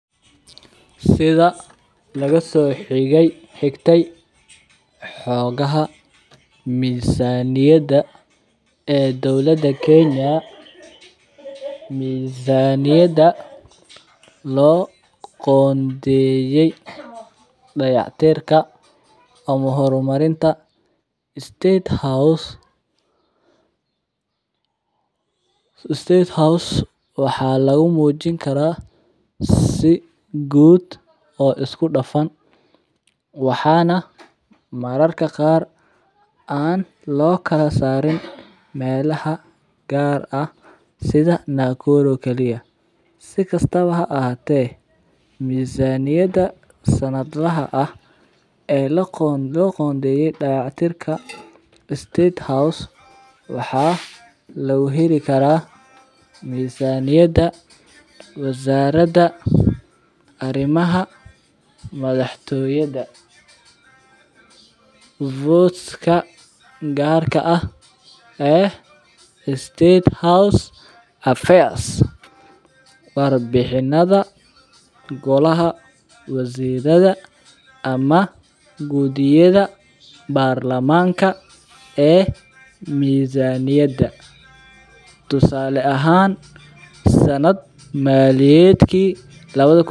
Sitha laga soxigatay xogaha misaniyada ee dowaada kenya misaniyada lo qondeyey dayac tirka ama hor marinta state house waxaa lagu mujin karaa si gud isku dafan waxana mararka qar an lokala sarin melaha gar ah sitha nakuru si kastawa ha ahate misaniyada sanad laha ah ee lo qondeye dayac tirka state house waxaa lagu heli karaa misaniyada arimaha madhax toyada votes ka gar ka eh ee state house affairs war bixinadha golaha wasiradha ama gudiyada bar lamanka ee misaniyada, tusale ahan sanad maliyeedki lawadha kun.